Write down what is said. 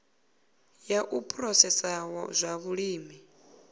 ya u phurosesa zwa vhulimi